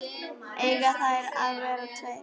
Eiga þeir að vera tveir?